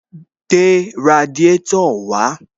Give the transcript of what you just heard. Gbé radiátò wàá